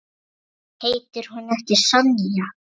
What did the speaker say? Heitir hún ekki Sonja?